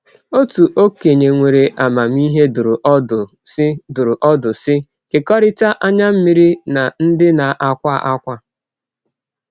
Otu okenye nwere amamihe dụrụ ọdụ sị, dụrụ ọdụ sị, “Kekọrịta anya mmiri na ndị na-akwa ákwá.”